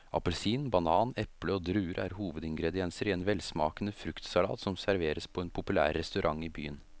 Appelsin, banan, eple og druer er hovedingredienser i en velsmakende fruktsalat som serveres på en populær restaurant i byen.